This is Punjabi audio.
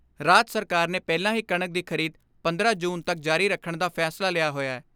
ਰਾਜ ਸਰਕਾਰ ਨੇ ਪਹਿਲਾਂ ਹੀ ਕਣਕ ਦੀ ਖਰੀਦ ਪੰਦਰਾਂ ਜੂਨ ਤੱਕ ਜਾਰੀ ਰੱਖਣ ਦਾ ਫੈਸਲਾ ਲਿਆ ਹੋਇਐ।